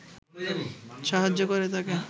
সাহায্য করে তাকে